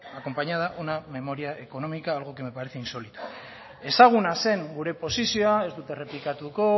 acompañada una memoria económica algo que me parece insólito ezaguna zen gure posizioa ez dut errepikatuko